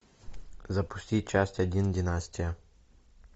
запусти часть один династия